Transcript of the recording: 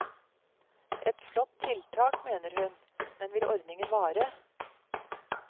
Et flott tiltak, mener hun, men vil ordningen vare?